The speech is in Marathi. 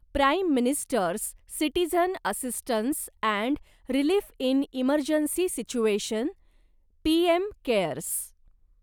prime ministers citizen assistance and relief in emergency situation PM CARES